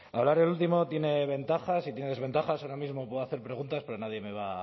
hablar el último tiene ventajas y tiene desventajas ahora mismo puedo hacer preguntas pero nadie me va